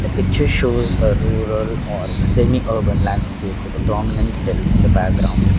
picture shows a rural or semi urban landscape with the prominent hell in the background.